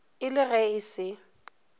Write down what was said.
e le ge e se